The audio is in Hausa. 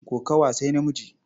Kokawa sai namiji.